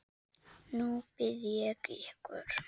Nú bið ég ykkur